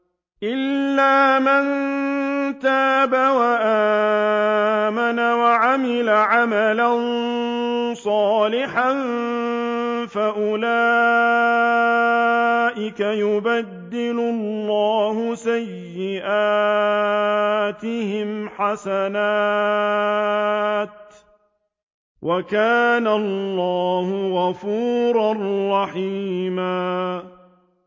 إِلَّا مَن تَابَ وَآمَنَ وَعَمِلَ عَمَلًا صَالِحًا فَأُولَٰئِكَ يُبَدِّلُ اللَّهُ سَيِّئَاتِهِمْ حَسَنَاتٍ ۗ وَكَانَ اللَّهُ غَفُورًا رَّحِيمًا